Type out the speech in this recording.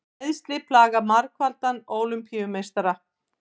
Meiðsli plaga margfaldan Ólympíumeistara